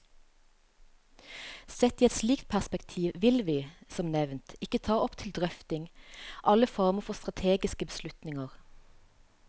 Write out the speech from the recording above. Sett i et slikt perspektiv vil vi, som nevnt, ikke ta opp til drøfting alle former for strategiske beslutninger.